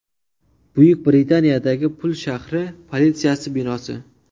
Buyuk Britaniyadagi Pul shahri politsiyasi binosi.